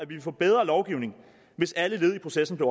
ville få bedre lovgivning hvis alle led i processen blev